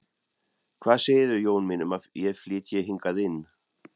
Hvað segirðu, Jón minn, um að ég flytji hingað inn